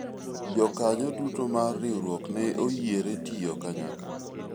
jokanyo duto mar riwruok ne oyiere tiyo kanyakla